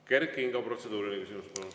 Kert Kingo, protseduuriline küsimus.